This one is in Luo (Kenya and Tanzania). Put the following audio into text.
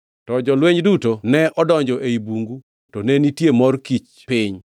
To jolweny duto ne odonjo ei bungu to ne nitie mor kich piny.